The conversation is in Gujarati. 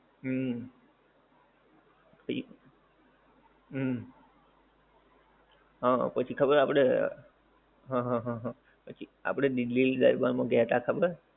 હમ એક હમ હા હા પછી ખબર આપણે હા હા હા પછી આપણે દિલ્લી દરબારમા ગયા હતા ખબર